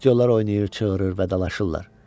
Aktyorlar oynayır, çığırır və dalaşırlar.